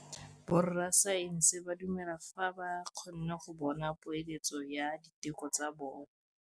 Borra saense ba dumela fela fa ba kgonne go bona poeletsô ya diteko tsa bone.